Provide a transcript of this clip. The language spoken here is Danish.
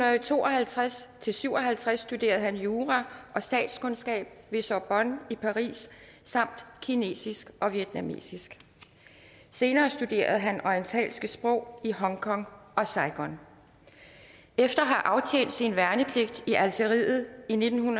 to og halvtreds til syv og halvtreds studerede han jura og statskundskab ved sorbonne i paris samt kinesisk og vietnamesisk senere studerede han orientalske sprog i hongkong og saigon efter at have aftjent sin værnepligt i algeriet i nitten